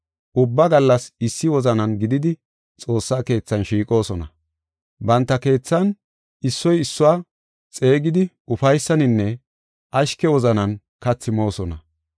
Ubba gallas issi wozanan gididi xoossa keethan shiiqoosona. Banta keethan issoy issuwa xeegidi ufaysaninne ashke wozanan kathi moosona.